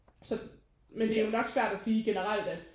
Så det er jo nok svært at sige generelt at